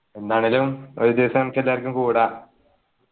എന്താണേലും ഒരുദിവസം നമുക്കെല്ലാരിക്കും കൂടാം